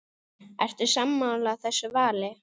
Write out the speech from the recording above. Ertu sammála þessu vali?